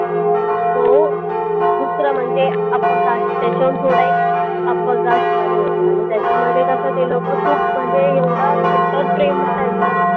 तो दूसरा म्हणजे upper cast त्याच्याहून थोडा एक upper cast वाले होते आणि त्याच्यामध्ये कसं ते लोकं खूप म्हणजे कट्टर प्रेम ना त्यांचं